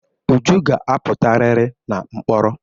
Uju ga-apụtarịrị na mkpọrọ.